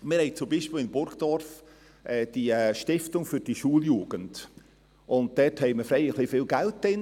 In Burgdorf haben wir zum Beispiel die Stiftung für die Schuljugend, und dort ist recht viel Geld vorhanden.